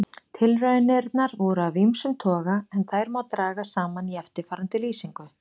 Tilraunirnar voru af ýmsum toga en þær má draga saman í eftirfarandi lýsingu.